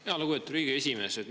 Jaa, lugupeetud Riigikogu esimees!